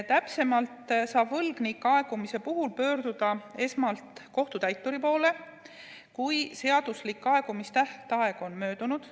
Täpsemalt öeldes saab võlgnik aegumise puhul pöörduda esmalt kohtutäituri poole, kui seaduslik aegumistähtaeg on möödunud.